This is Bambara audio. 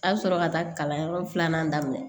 A bɛ sɔrɔ ka taa kalanyɔrɔ filanan daminɛ